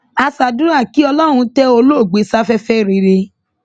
a ṣàdúrà kí ọlọrun tẹ olóògbé sáfẹfẹ rere